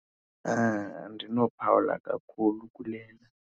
Andinophawula kakhulu kule.